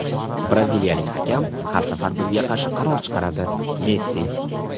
Braziliyalik hakam har safar bizga qarshi qaror chiqaradi – Messi.